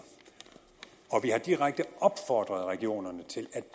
vi har direkte opfordret regionerne til at